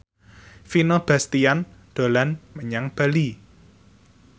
Vino Bastian dolan menyang Bali